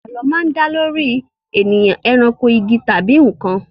Àlọ́ máa ń dá lórí ènìyàn, eranko, igi, tàbí nǹkan